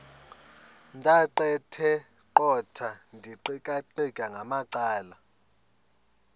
ndaqetheqotha ndiqikaqikeka ngamacala